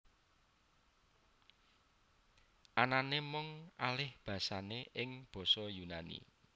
Anané mung alihbasané ing basa Yunani